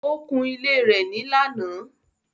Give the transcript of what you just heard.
Ó kun ilé rẹ̀ ní lánàá.